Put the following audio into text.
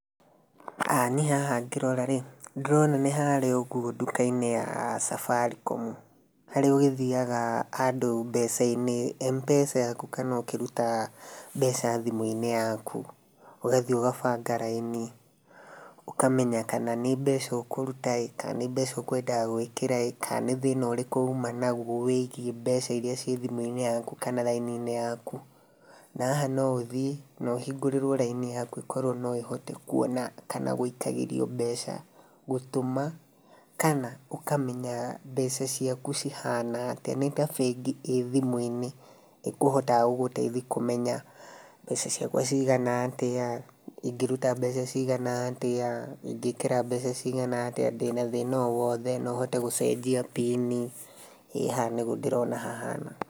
Niĩ haha ngĩrora rĩ, ndĩrona nĩ harĩa ũguo nduka-inĩ ya Safaricom harĩa ũgĩthiaga andũ mbeca-inĩ M-pesa yaku kana ũkĩrutaĩ mbeca thimũ-inĩ yaku ũgathiĩ ũgabanga raini ũkamenya kana nĩ mbeca ũkũruta kana nĩ mbeca ũkwendaga gwĩkĩraĩ kana nĩ thĩna ũrĩkũ uma nagũo wĩgiĩ mbeca iria cirĩ thimũ-inĩ yaku kana raini-inĩ yakũ. Na haha no ũthiĩ no hingũrĩrwo raini yaku ĩkorwo noĩhote kwona kana gũikagĩrio mbeca gũtũma kana ũkamenya mbeca ciaku cihana atĩa nĩ ta bengi ĩ thimũ-inĩ ĩkũhota gũgũteithia kũmenya mbeca ciakwa ciigana atĩa, ingĩruta mbeca cigana atĩa, ingĩĩkĩra mbeca ciigana atĩa, ndĩna thĩna o wothe, no hote gũcenjia bini, ĩ haha nĩguo ndĩrona hahana.